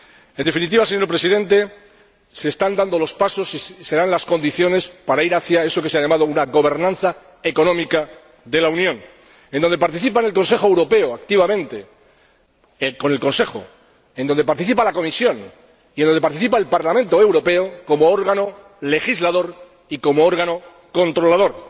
En definitiva, señor Presidente, se están dando los pasos y se dan las condiciones para ir hacia eso que se ha llamado una gobernanza económica de la Unión, en la que participan el Consejo Europeo activamente —con el Consejo—, la Comisión y el Parlamento Europeo como órgano legislador y como órgano controlador.